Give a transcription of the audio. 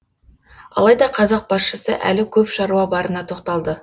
алайда қазақ басшысы әлі көп шаруа барына тоқталды